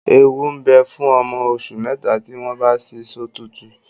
Ewu ń bẹ fún ọmọ oṣù mẹ́ta tí wọ́n bá ṣí sọ́tùútù